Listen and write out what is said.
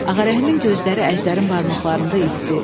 Ağarəhimin gözləri Əjdərin barmaqlarında itdi.